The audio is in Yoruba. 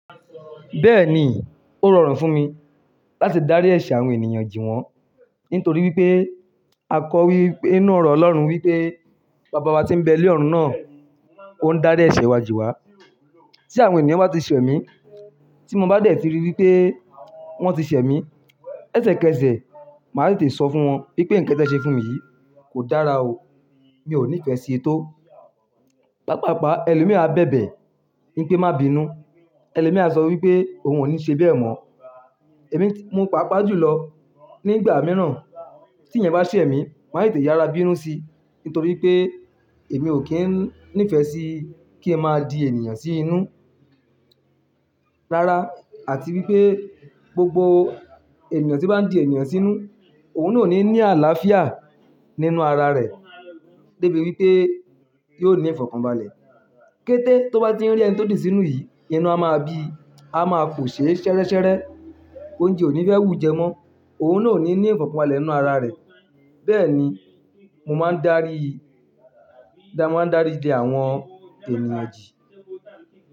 Bẹ́ẹ̀ni, ó rọrùn fún mi láti darí ẹ̀ṣẹ̀ àwọn ènìyàn jìwọ̀n. Nítorí wípé, a kọ́ wípé ninú ọ̀rọ̀ Ọlọ́run wípé, bàbá wa tí ń bẹ ní ọ̀run náà, òun ń darí ẹ̀ṣẹ̀ wa jì wá. Tí àwọn ènìyàn bá ti ṣẹ̀ mí, tí mo bá dẹ̀ tí rí wípé wọ́n ti ṣẹ̀ mí, ẹsẹ̀kẹsẹ̀ màá tètè sọ fún wọn wípé ǹkan tí ẹ ṣe fún mi yìí kò dára o, mi ò nífẹ̀ẹ́ sí i tó. Pápàpá ẹlòmíì á bẹ̀bẹ̀ wípé má bí i nù. Ẹlòmíì á sọ wípé òun ò ní ṣe bẹ́ẹ̀ mọ́. Èmi mú paapaa jùlọ nígbà mìíràn, tí ẹ̀yan bá ṣẹ̀ mí, màá tètè yára bí i nù sí i. Nítorí pé èmi ò kín ní ìfẹ́ sí kí n máa di ènìyàn sí inú. Rárá, àti wípé gbogbo ènìyàn tí o bá ń di ènìyàn sínú, òun naa o ní ní àlàáfíà nínú ara rẹ̀. Débi wípé yóò ní ìfọ̀kànbalẹ̀. Kéte ti o bá ti ń rí ẹni tó dì sínú yìí, inú a máa bíi, a máa pòṣe ṣẹrẹ́ṣẹrẹ́, oúnjẹ ò ní fẹ́ wù ú jẹ mọ́. Òun naa ò ní ní ìfọ̀kànbalẹ̀ nínú ara rẹ̀. Bẹ́ẹ̀ ni mo máa ń darí, dàá máa ń daríji àwọn ènìyàn jì.